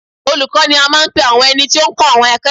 Olùkọ́ ni a máa ń pe ẹni tí ó máa ń kọ́ àwọn akẹ́kọ̀ọ́